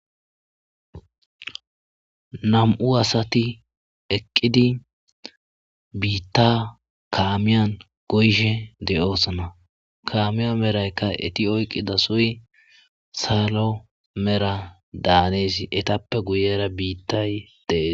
Nam'u asati eqida kamiyan bitta goyishshe dossona kammiya merayikka eti oyiqidossoy salo mera danes etappe guye baggara mela biittay dees